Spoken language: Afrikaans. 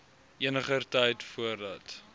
eniger tyd voordat